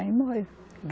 Aí morreu.